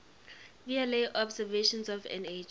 vla observations of nh